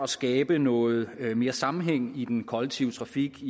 skabe noget mere sammenhæng i den kollektive trafik